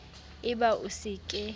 e ba o se ke